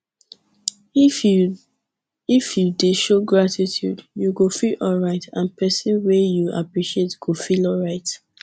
if you if you de show gratitude you go feel alright and persin wey you appreciate go feel alright